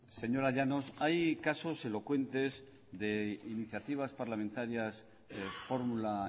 señora llanos hay casos elocuentes de iniciativas parlamentarias de fórmula